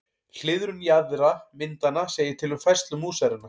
Hliðrun jaðra myndanna segir til um færslu músarinnar.